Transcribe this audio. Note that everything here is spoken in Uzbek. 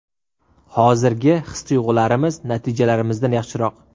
Hozirgi his-tuyg‘ularimiz, natijalarimizdan yaxshiroq.